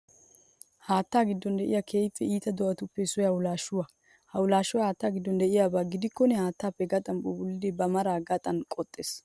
Haattaa giddon de'iya keehippe iita do'atuppe issoy hawulaashuwa. Hawulaashoy haatta giddon de'iyaba gidikkonna haattaappe gaxan phuuphullidi ba maraa gaxan qoxees.